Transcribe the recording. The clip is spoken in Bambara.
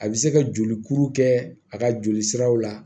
A bɛ se ka joli kuru kɛ a ka joli siraw la